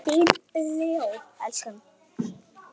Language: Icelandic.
Þinn Leó.